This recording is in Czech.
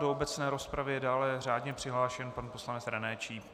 Do obecné rozpravy je dále řádně přihlášen pan poslanec René Číp.